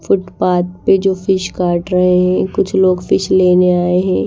Footpath पे जो fish काट रहे हैं कुछ लोग फिश लेने आए हैं।